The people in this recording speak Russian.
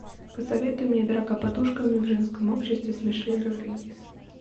посоветуй мне драка подушками в женском обществе с мишель родригес